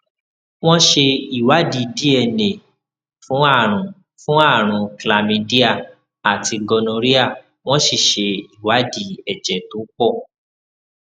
wọn ṣe ìwádìí dna fún àrùn fún àrùn chlamydia àti gonorrhea wọn sì ṣe ìwádìí ẹjẹ tó pọ